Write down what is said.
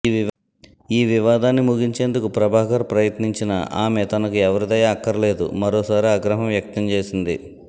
ఈ వివాదాన్ని ముగించేందుకు ప్రభాకర్ ప్రయత్నించినా ఆమె తనకు ఎవరి దయ అక్కర్లేదు మరోసారి ఆగ్రహం వ్యక్తం చేసింది